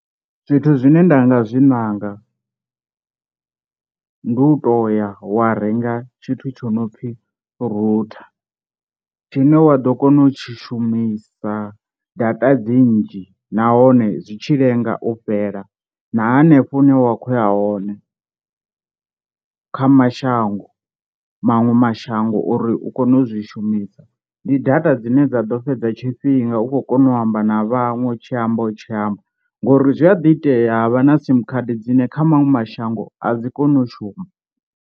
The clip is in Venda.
Zwithu zwine nda nga zwi nanga ndi u to ya wa renga tshithu tsho no pfhi router tshine wa ḓo kona u tshi shumisa data dzi nnzhi nahone zwi tshi lenga u fhela na hanefho hune wa khoya hone kha mashango maṅwe mashango uri u kone u zwi shumisa, ndi data dzine dza ḓo fhedza tshifhinga u khou kona u amba na vhaṅwe u tshi amba u tshi amba, ngori zwia ḓi itea ha vha na sim card dzine kha maṅwe mashango a dzi koni u shuma.